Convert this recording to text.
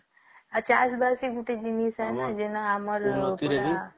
ଆଉ ଚାଷ ବାସ ବି ଗୋଟେ ଜିନିଷ